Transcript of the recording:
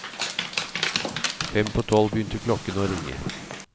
Fem på tolv begynte klokkene å ringe.